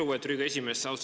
Lugupeetud Riigikogu esimees!